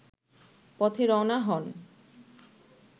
পথে রওনা হন